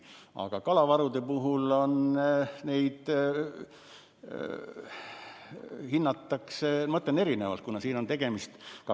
Aga kalavarusid hinnatakse erinevalt.